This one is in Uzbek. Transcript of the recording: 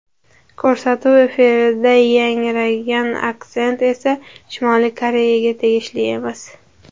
Ko‘rsatuv efirida yangragan aksent esa Shimoliy Koreyaga tegishli emas.